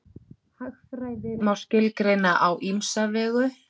Hagfræði má skilgreina á ýmsa vegu.